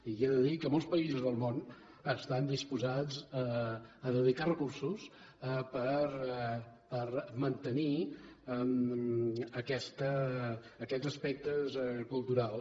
li he de dir que molts països del món estan disposats a dedicar recursos per mantenir aquests aspectes culturals